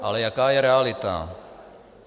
Ale jaká je realita?